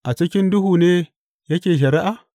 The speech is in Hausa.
A cikin duhu ne yake shari’a?